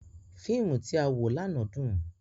Fiimu ti a wo làná dun.